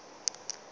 go wa le go tsoga